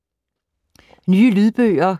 Nye lydbøger